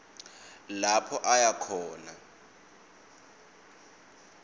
lapho aya khona